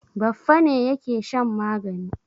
Baffa ne yake shan magani.